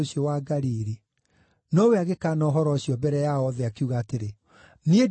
Nowe agĩkaana ũhoro ũcio mbere yao othe, akiuga atĩrĩ, “Niĩ ndiũĩ ũrĩa ũroiga.”